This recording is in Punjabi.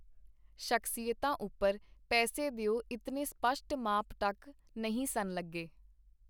ਸ਼ਖਸੀਅਤਾਂ ਉਪਰ ਪੈਸੇ ਦਿਓ ਇਤਨੇ ਸਪਸ਼ਟ ਮਾਪ-ਟੱਕ ਨਹੀਂ ਸਨ ਲੱਗੇ.